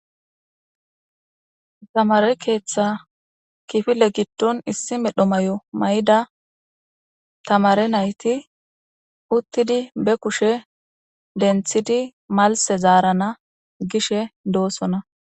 Thamaare keeththaa kifile giddon issi medho mayo mayida thamaare na7ithi uththidi be kushe denththidi malsse zaarana gishee doosona.